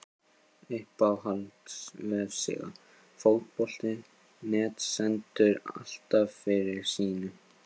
Uppáhalds vefsíða? Fótbolti.net stendur alltaf fyrir sínu.